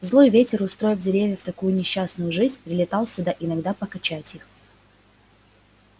злой ветер устроив деревьям такую несчастную жизнь прилетал сюда иногда покачать их